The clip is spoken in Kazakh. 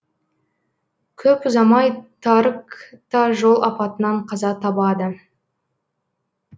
көп ұзамай тарык та жол апатынан қаза табады